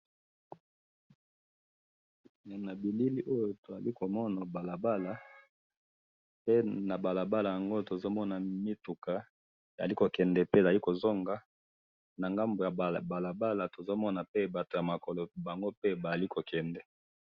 Na moni balabala mutuka moko ezali ko kende na mususu ezali ko zonga na batu mibale bazali kotambola na ngambo ya balabala.